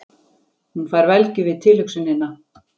Hún fær velgju við tilhugsunina.